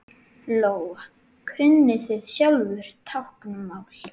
Lóa: Kunnið þið sjálfir táknmál?